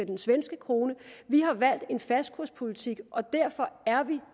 den svenske krone vi har valgt en fastkurspolitik og derfor er vi